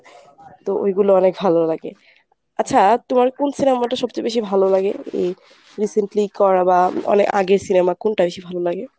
তো ঐগুলো ভালো লাগে। আচ্ছা তোমার কোন cinema টা সবচেয়ে বেশি ভালো লাগে? উম recently করা বা আগের cinema কোনটা বেশি ভালো লাগে?